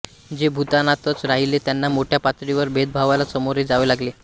जे भूतानातच राहिले त्यांना मोठ्या पातळीवर भेदभावाला सामोरे जावे लागले